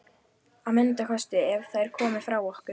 Að minnsta kosti ef þær komu frá okkur.